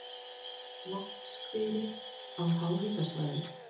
Vatnshverir á háhitasvæðum